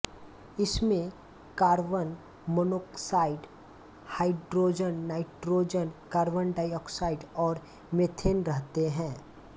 इसमें carbon monoxide hydrogen nitrogen carbon dioxide और methane रहते हैं